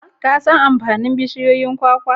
Ka an amfanin bushiyoyin kwakwa?